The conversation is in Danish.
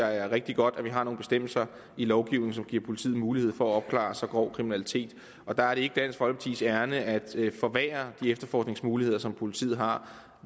er rigtig godt at vi har nogle bestemmelser i lovgivningen som giver politiet mulighed for at opklare så grov kriminalitet og der er det ikke dansk folkepartis ærinde at forværre de efterforskningsmuligheder som politiet har